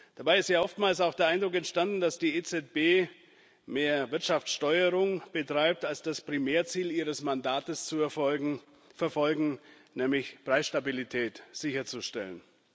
Dabei ist oftmals auch der Eindruck entstanden, dass die EZB mehr Wirtschaftssteuerung betreibt als das Primärziel ihres Mandates zu verfolgen, nämlich Preisstabilität sicherzustellen.